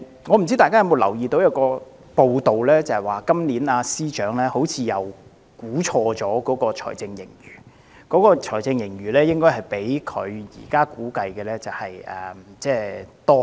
我不知道大家有否留意早前一篇報道，指財政司司長今年又錯估了財政盈餘，實際財政盈餘較他估算的高出很多。